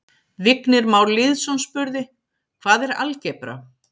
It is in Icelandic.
Vignir Már Lýðsson spurði: Hvað er algebra?